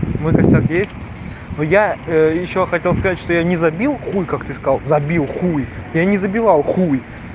мой косяк есть но я ещё хотел сказать что я не забил хуй как ты сказал забил хуй я не забивал хуй